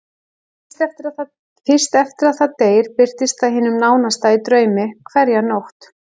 Fyrst eftir að það deyr birtist það hinum nánasta í draumi hverja nótt.